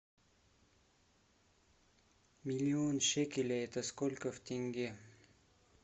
миллион шекелей это сколько в тенге